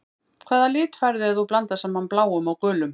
Hvaða lit færðu ef þú blandar saman bláum og gulum?